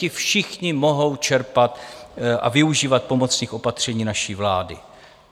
Ti všichni mohou čerpat a využívat pomocných opatření naší vlády.